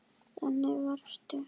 Þannig varstu.